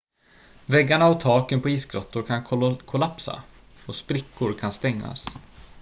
väggarna och taken på isgrottor kan kollapsa och sprickor kan stängas